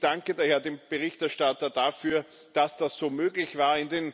Ich danke daher dem Berichterstatter dafür, dass das so möglich war.